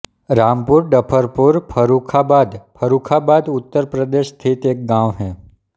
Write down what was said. रामपुर डफरपुर फर्रुखाबाद फर्रुखाबाद उत्तर प्रदेश स्थित एक गाँव है